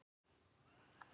Hún varð ólétt.